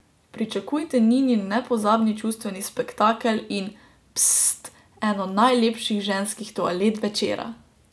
Pričakujte Ninin nepozabni čustveni spektakel in, pssst, eno najlepših ženskih toalet večera!